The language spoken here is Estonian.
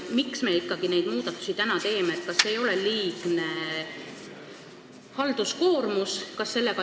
Miks me ikkagi praegu neid muudatusi teeme – kas see ei ole liigne halduskoormus?